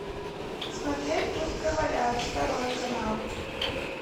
смотреть пусть говорят второй канал